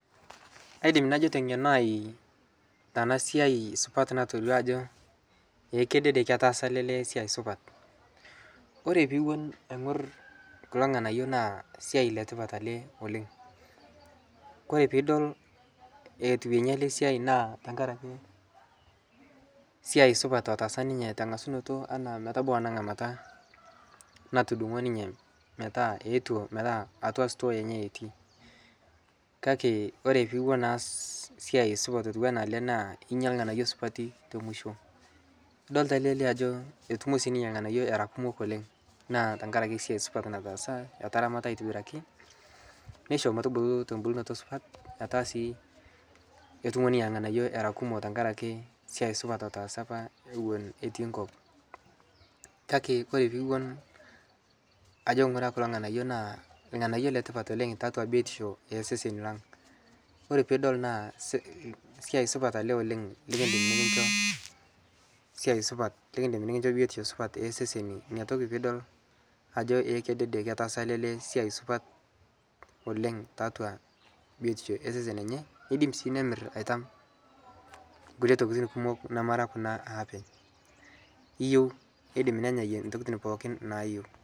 kaidim najoo te ngenoo aai tanaa siai supat natoduo ajoo ee kedede ketaasa alee lee siai supat kore piiwon aigur kuloo nghanayo naa sia letipat alee oleng. kore piidol etuwenyii alee siai naa tangarakee siai supat lotaasa ninyee tangasunotoo mpakaa metabau anaa nghamataa natudungoo ninyee metaa ewotuo atua stoo enyee etii kakee kore piiwon aas siai supat otuwanaa alee naa inyaa lghanayoo supatii te mushoo idolitaa alee lee ajoo etumoo sii ninyee lghanayoo eraa kumok oleng naa tankarakee siai supat nataasa etaramataa aitibirakii neishoo motubuluu to mbulnotoo supat etaa sii etumoo ninyee lghanayoo eraa kumoo tankarakee siai supat lotaasa ewon apaa etii nkop kakee kore piiwuon ajoo nghuraa kuloo nghanayoo naa lghanayoo letipat taatua biotishoo ee seseni lang kore piidol naa siai alee supat oleng nikindim nikinchoo biotishoo ee seseni inia tokii piidol ajoo ee kedede ketaasa alee lee siai supat oleng taatua biotishoo enyee neidim sii nemir aitam nkulie tokitin kumok namaraa kunaa aapeny, iyeu neidim nenyayie ntokitin pooki naayeu